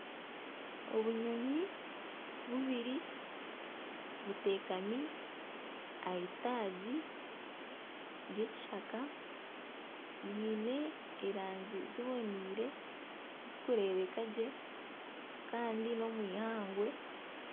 Obunyonyi bubiri butekami aha itaagi ry'ekishaka riine erangi ziboniire zirikureebeka gye kandi n'omwihangwe